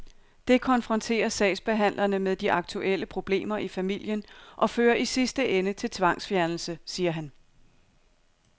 Det konfronterer sagsbehandlerne med de aktuelle problemer i familien og fører i sidste ende til tvangsfjernelse, siger han.